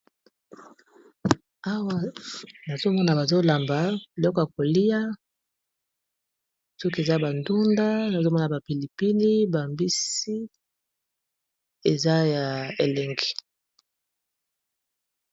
awa nazomona bazolamba biloko ya kolia soki eza bandunda nazomona bapilipili bambisi eza ya elengi.